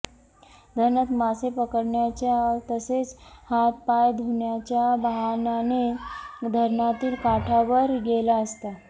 धरणात मासे पकडण्याच्या तसेच हात पाय धुण्याच्या बाहाणाने धरणातील काठावर गेला असता